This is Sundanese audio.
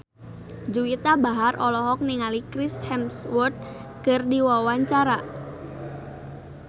Juwita Bahar olohok ningali Chris Hemsworth keur diwawancara